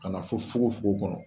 Ka na fɔ fogofogo kɔnɔ